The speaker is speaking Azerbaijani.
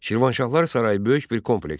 Şirvanşahlar sarayı böyük bir kompleksdir.